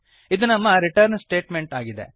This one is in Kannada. ಇದು ನಮ್ಮ ರಿಟರ್ನ್ ಸ್ಟೇಟಮೆಂಟ್ ಆಗಿದೆ